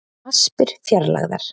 Aspir fjarlægðar